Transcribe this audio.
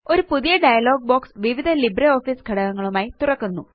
ഒരു പുതിയ dialog box വിവിധ ലിബ്രിയോഫീസ് ഘടകങ്ങളുമായി തുറക്കുന്നു